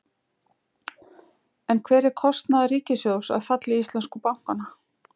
En hver er kostnaður ríkissjóðs af falli íslensku bankanna?